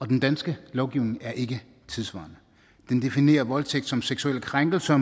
den danske lovgivning er ikke tidssvarende den definerer voldtægt som seksuelle krænkelser